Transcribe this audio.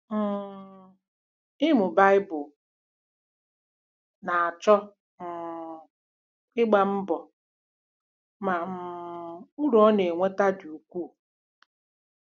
um Ịmụ Baịbụl na-achọ um ịgba mbọ, ma um uru ọ na-enweta dị ukwuu!